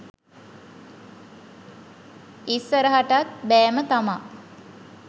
ඉස්සරටත් බෑම තමා.